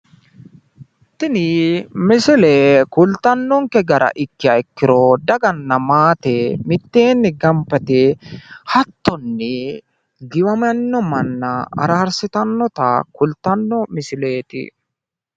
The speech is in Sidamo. tini misile kultanonke gara ikkiro daganna maate mitteenni gamba yite hattonni giwiminno manna araarssitannota kultanno misileeti.